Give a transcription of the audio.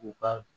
U ka